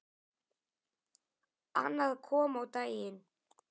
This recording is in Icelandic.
Annað kom á daginn.